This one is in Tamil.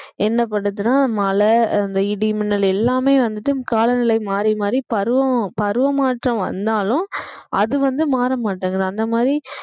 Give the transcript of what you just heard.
என்ன பண்ணுதுன்னா மழை அந்த இடி மின்னல் எல்லாமே வந்துட்டு காலநிலை மாறி மாறி பருவம் பருவ மாற்றம் வந்தாலும் அது வந்து மாற மாட்டேங்குது அந்த மாதிரி